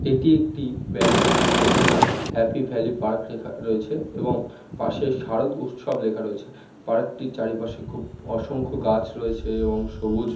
এটি একটি ব্যানার যেখানে হ্যাপি ভালই পার্ক লেখা রয়েছে এবং পাশে শারদ উৎসব লেখা রয়েছে। পার্ক -টির চারিপাশে খুব অসংখ্য গাছ রয়েছে এবং সবুজ--